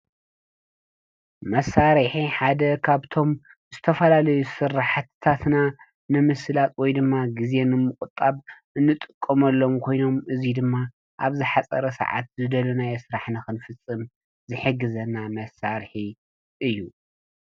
መሳርሒ ሓደ ኻፍቶም ዝተፈላለዩ ስራሕትታትና ንምስላጥ ወይድማ ግዜ ንምቁጣብ እንጥቀመሎም ኾይኖም እዚይ ድማ ኣብዚ ዝሓፀረ ሰዓት ንዝደለናዮ ስራሕ ንኽንፍፅም ዝሕግዘና መሳርሒ እዩ።